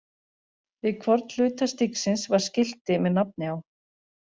Við hvorn hluta stígsins var skilti með nafni á.